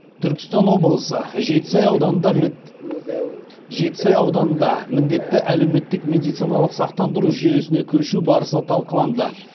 түркістан облысы жетісай ауданында міндетті әлеуметтік медициналық сақтандыру жүйесіне көшу барысы талқыланды